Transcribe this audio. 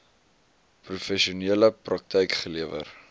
professionele praktyk gelewer